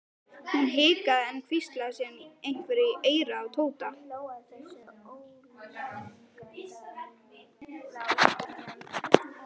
Hún hikaði en hvíslaði síðan einhverju í eyrað á Tóta.